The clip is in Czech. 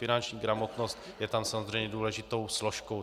Finanční gramotnost je tam samozřejmě důležitou složkou.